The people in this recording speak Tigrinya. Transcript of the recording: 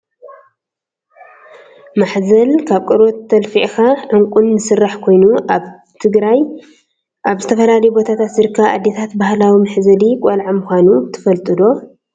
ማሕዘል ካብ ቆርበት ኣልፍዕካ፣ ዑንቅን ዝስራሕ ኮይኑ ኣብ ትግራይ ኣብ ዝተፈላለዩ ቦታታት ዝርከባ ኣደታት ባህላዊ መሕዘሊ ቆልዓ ምኮኑ ትፈልጡ ዶ?